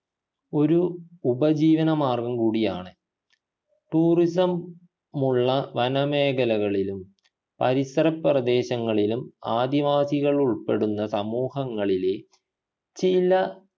ഒരു ഉപജീവനമാർഗം കൂടിയാണ് tourism മുള്ള വനമേഖലകളിലും പരിസര പ്രദേശങ്ങളിലും ആദിവാസികൾ ഉൾപ്പെടുന്ന സമൂഹങ്ങളിലെ ചില